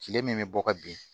Kile min bɛ bɔ ka bin